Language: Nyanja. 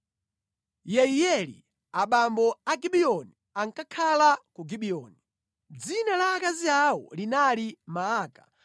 Yeiyeli abambo a Gibiyoni ankakhala ku Gibiyoni. Dzina la akazi awo linali Maaka,